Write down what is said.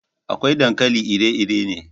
Akwai dankali iri-iri ne.